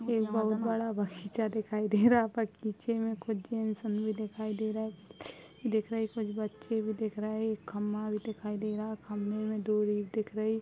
एक बहुत बड़ा बागीचा दिखाई दे रहा। बागीचे में कुछ भी दिखाई दे रहा दिख रहा है। कुछ बच्चे भी दिख रा है। एक खम्मा भी दिखाई दे रहा। खम्भे में दो तो दिख रही।